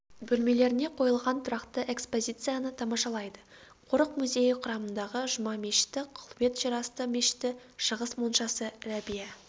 бөлмелеріне қойылған тұрақты экспозицияны тамашалайды қорық-музейі құрамындағы жұма мешіті қылует жерасты мешіті шығыс моншасы рәбия